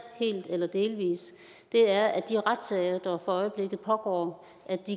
helt eller delvis er at de retssager der for øjeblikket pågår